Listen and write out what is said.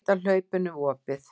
Veit af hlaupinu við opið.